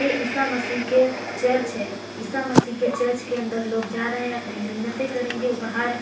ए ईसा मसीह के चर्च है । ईसामसीह के चर्च के अंदर लोग जा रहे हैं अपनी मिन्नतें करेंगे और बाहर --